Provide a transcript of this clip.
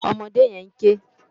Òmòdé yèn n ké